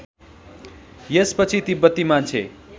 यसपछि तिब्बती मान्छे